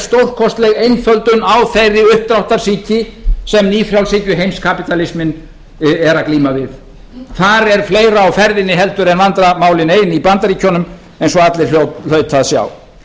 stórkostleg einföldun á þeirri uppdráttarsýki sem nýfrjálshyggjuheimskapítalisminn er að glíma við það er fleira á ferðinni heldur en vandræðamálin ein í bandaríkjunum eins og allir hljóta að sjá